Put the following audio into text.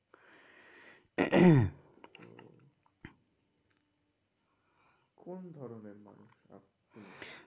কোন ধরনের মানুষ আপ তুমি?